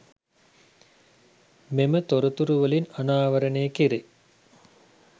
මෙම තොරතුරුවලින් අනාවරණය කෙරේ.